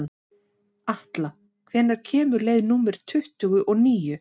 Atla, hvenær kemur leið númer tuttugu og níu?